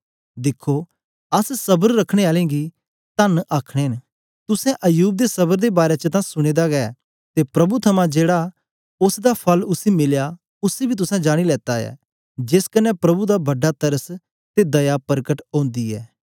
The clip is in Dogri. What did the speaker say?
दिखो अस स्बर रखने आलें गी तन्न आखने न तुसें अय्यूब दे स्बर दे बारै च तां सुने दा गै ते प्रभु थमां जेड़ा ओसदा फल उसी मिलया उसी बी तुसें जानी लेता ऐ जेस कन्ने प्रभु दा बडा तरस ते दया परकट ओंदी ऐ